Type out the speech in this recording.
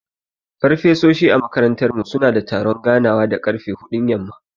Farfesoshi a makarantar mu suna da taron ganawa da ƙarfe huɗun yamma.